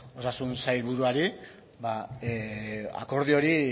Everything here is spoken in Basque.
osasun sailburuari akordio hori